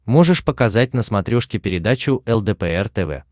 можешь показать на смотрешке передачу лдпр тв